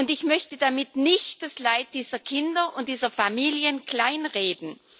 Ich möchte damit nicht das Leid dieser Kinder und dieser Familien kleinreden.